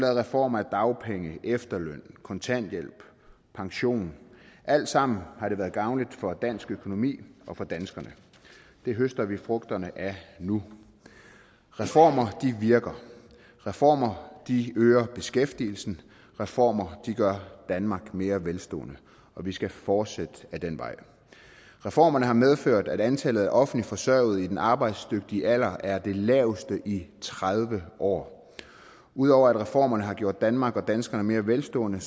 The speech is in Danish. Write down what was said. reformer af dagpenge efterløn kontanthjælp pension alt sammen har det været gavnligt for dansk økonomi og for danskerne det høster vi frugterne af nu reformer virker reformer øger beskæftigelsen reformer gør danmark mere velstående og vi skal fortsætte ad den vej reformerne har medført at antallet af offentligt forsørgede i den arbejdsdygtige alder er det laveste i tredive år ud over at reformerne har gjort danmark og danskerne mere velstående